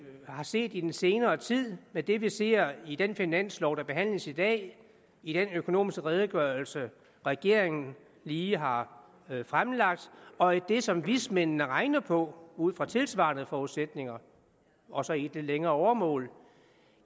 har set i den senere tid med det vi ser i den finanslov der behandles i dag i den økonomiske redegørelse regeringen lige har fremlagt og i det som vismændene regner på ud fra tilsvarende forudsætninger og så i det længere åremål